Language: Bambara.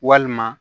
Walima